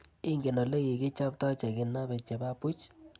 Ingen olekikichapta chekinape che ba buch?